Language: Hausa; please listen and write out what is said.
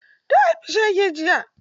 Ta haifi shege jiya.